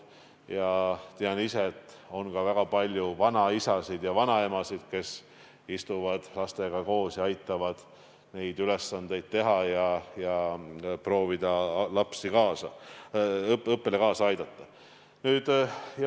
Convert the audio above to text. Ma tean ise, et on väga palju vanaisasid-vanaemasid, kes istuvad lastega koos, aitavad neil ülesandeid teha ja proovivad laste õppele igati kaasa aidata.